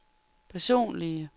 personlige